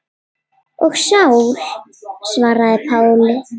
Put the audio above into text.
Og Sál varð að Páli.